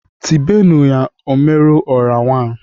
Tibenu ya "Omeru ọra wan"!